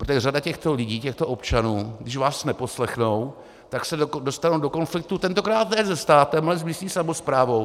Protože řada těchto lidí, těchto občanů, když vás neposlechnou, tak se dostanou do konfliktu tentokrát ne se státem, ale s místní samosprávou.